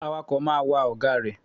Awakọ̀ máa wa ọ̀gá rẹ̀.